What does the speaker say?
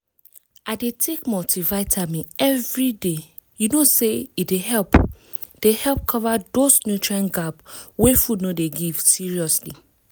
i dey take multivitamin every day you know say e dey help dey help cover those nutrient gap wey food no dey give seriously